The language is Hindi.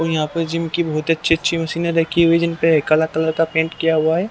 और यहाँ पर जिम की बहुत अच्छी अच्छी मशीनें रखी हुई है जिन पे काला कलर का पेंट किया हुआ है।